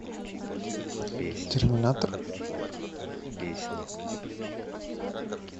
терминатор